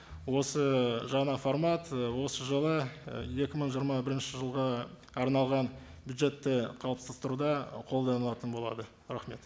осы жаңа формат і осы жылы і екі мың жиырма бірінші жылға арналған бюджетті қылыптастыруда қолданылатын болады рахмет